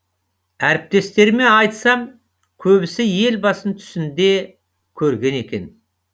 әріптестеріме айтсам көбісі елбасын түсінде көрген екен